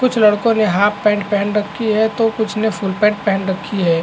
कुछ लड़कों ने हाफ पैंट पहन रखी है तो कुछ ने फुल पैंट पहन रखी है।